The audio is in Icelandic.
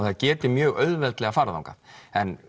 það geti mjög auðveldlega farið þangað en